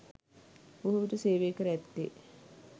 බොහෝවිට සේවය කර ඇත්තේ